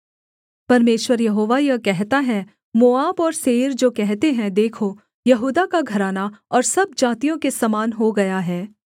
परमेश्वर यहोवा यह कहता है मोआब और सेईर जो कहते हैं देखो यहूदा का घराना और सब जातियों के समान हो गया है